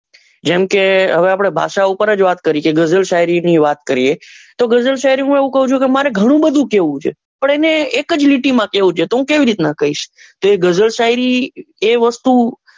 જેમ કે હવે આપડે ભાષા ની જ વાત કરીએ કે ગઝલ શાયરી ની વાત કરીએ કે હું એવું કઉં કે મારે ઘણું બધું કેવું છે પણ એને એક જ લીટી માં કેવું છે તો હું કેવી રીતે કઈસ.